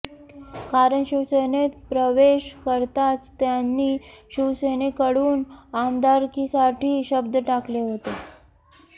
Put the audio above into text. कारण शिवसेनेत प्रवेश करताच त्यांनी शिवसेनेकडून आमदारकीसाठी शब्द टाकला होता